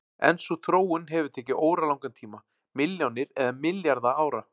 En sú þróun hefur tekið óralangan tíma, milljónir eða milljarða ára.